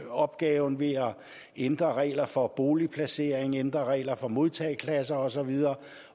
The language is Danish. opgaven ved at ændre regler for boligplacering ændre regler for modtageklasser og så videre